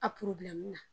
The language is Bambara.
A na